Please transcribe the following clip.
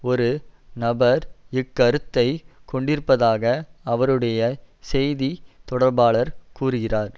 ஒரு நபர் இக்கருத்தை கொண்டிருப்பதாக அவருடைய செய்தி தொடர்பாளர் கூறுகிறார்